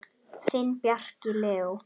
Þinn, Bjarki Leó.